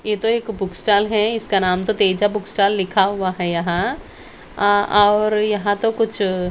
ये तो एक बुक स्टाल है इसका नाम तो तेजा बुक स्टाल लिखा हुआ है यहाँ अ और यहां तो कुछ--